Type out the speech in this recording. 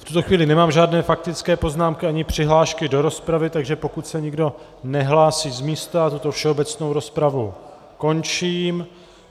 V tuto chvíli nemám žádné faktické poznámky ani přihlášky do rozpravy, takže pokud se nikdo nehlásí z místa, tuto všeobecnou rozpravu končím.